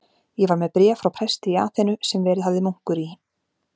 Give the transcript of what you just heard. Ég var með bréf frá presti í Aþenu, sem verið hafði munkur í